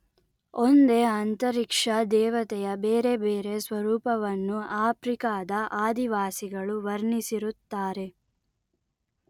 ಒಂದೇ ಅಂತರಿಕ್ಷ ದೇವತೆಯ ಬೇರೆ ಬೇರೆ ಸ್ವರೂಪವನ್ನು ಆಫ್ರಿಕದ ಆದಿವಾಸಿಗಳು ವರ್ಣಿಸಿರುತ್ತಾರೆ